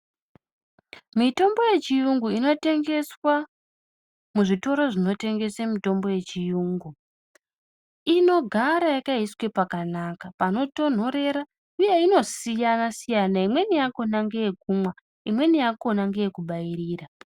Mitombo ye chiyungu ino tengeswa mu zvitoro zvino tengese mitombo ye chiyungu inogara yakaiswe pakanaka pano tonhorera uye ino siyana siyana imweni yakona ngeye kumwa imweni yakona ngeye kubairira.